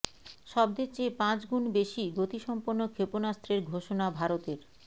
শব্দের চেয়ে পাঁচ গুণ বেশি গতিসম্পন্ন ক্ষেপণাস্ত্রের ঘোষণা ভারতের